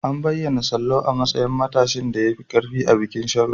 An bayyana Sallau a matsayin matashin da ya fi ƙarfi a bikin Sharo.